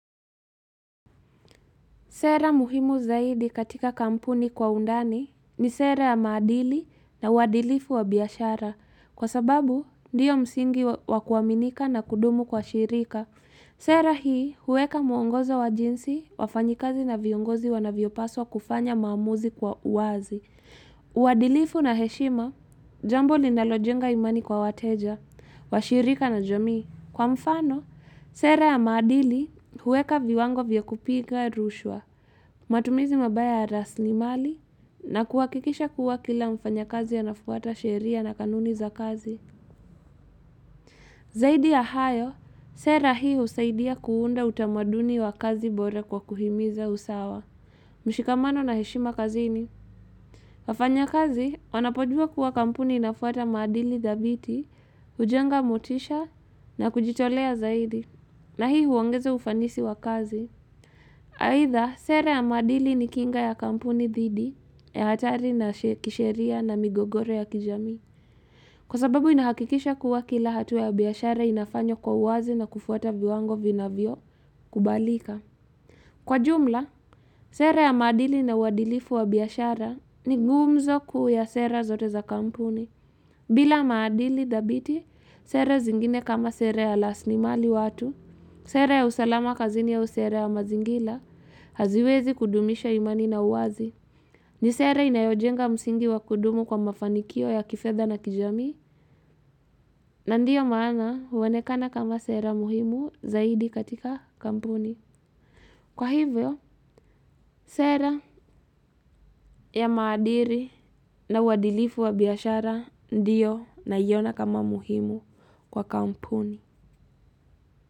Sera muhimu zaidi katika kampuni kwa undani ni sera ya maadili na uadilifu wa biashara. Kwa sababu, ndio msingi wa wa kuaminika na kudumu kwa shirika. Sera hii, huweka muongozo wa jinsi, wafanyikazi na viongozi wanavyopaswa kufanya maamuzi kwa uwazi. Uadilifu na heshima, jambo linalojenga imani kwa wateja, washirika na jamii Kwa mfano, sera ya maadili, huweka viwango vya kupiga rushwa. Matumizi mabaya ya rasilimali na kuhakikisha kuwa kila mfanyakazi anafuata sheria na kanuni za kazi. Zaidi ya hayo, sera hii husaidia kuunda utamaduni wa kazi bora kwa kuhimiza usawa. Mshikamano na heshima kazini. Wafanyakazi, wanapojua kuwa kampuni inafuata maadili dhabiti, hujenga motisha na kujitolea zaidi. Na hii huongeza ufanisi wa kazi. Aidha, sera ya maadili ni kinga ya kampuni dhidi, ya hatari na she kisheria na migogoro ya kijamii. Kwa sababu inahakikisha kuwa kila hatua ya biashara inafanywa kwa uwazi na kufuata viwango vinavyo kubalika. Kwa jumla, sera ya maadili na uadilifu wa biashara ni gumzo kuu ya sera zote za kampuni. Bila maadili dhabiti, sera zingine kama sera ya lasli mali watu, Sera ya usalama kazini au sera ya mazingila haziwezi kudumisha imani na uwazi. Ni sera inayojenga msingi wa kudumu kwa mafanikio ya kifedha na kijamii. Na ndio maana huonekana kama sera muhimu zaidi katika kampuni. Kwa hivyo, sera ya maadiri na uadilifu wa biashara ndio naiona kama muhimu kwa kampuni.